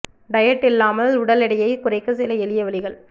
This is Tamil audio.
டயட் இல்லாமல் உடல் எடையை குறைக்க சில எளிய வழிகள்